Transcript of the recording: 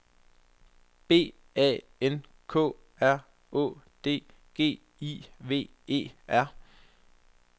B A N K R Å D G I V E R